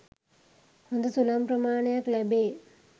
හොඳ සුළං ප්‍රමාණයක් ලැබේ.